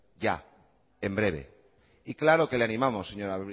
ya en breve y claro que le animamos señora